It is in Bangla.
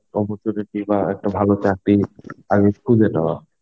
opportunities বাহঃ একটা ভালো চাকরি আগে খুঁজে নেওয়া.